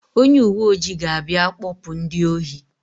Onye uwe ojii ga-abịa kpọpụ ndị ohi.